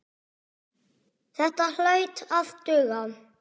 Þetta hlaut að duga.